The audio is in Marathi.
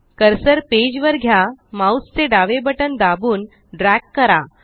कर्सर पेज वर घ्या माउस चे डावे बटन दाबून ड्रॅग करा